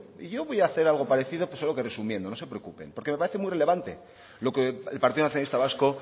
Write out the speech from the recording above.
y yo voy a hacer algo parecido pero resumiendo no se preocupen porque me parece muy relevante lo que el partido nacionalista vasco